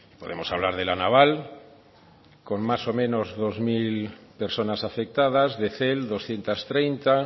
podemos hablar de la naval con más o menos dos mil personas afectadas de cel doscientos treinta